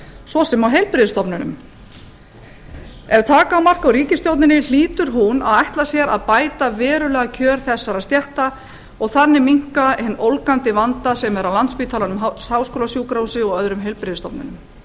svo sem á heilbrigðisstofnunum ef taka á mark á ríkisstjórninni hlýtur hún að ætla sér að bæta verulega kjör þessara stétta og þannig minnka hinn ólgandi vanda sem er á landspítalanum háskólasjúkrahúsi og öðrum heilbrigðisstofnunum